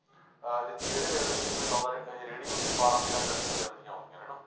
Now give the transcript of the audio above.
ਜਿਹੜੇ railway station ਤੇ ਲਾਉਂਦਾ ਇਹ ਰੇੜੀ ਉੱਥੇ ਬਾਰਾਂ ਤੇਰਾਂ ਗੱਡੀਆਂ ਹਨਾ,